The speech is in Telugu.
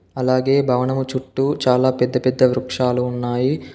అలాగే భవనము చుట్టూ చాలా పెద్ద పెద్ద వృక్షాలు ఉన్నాయి.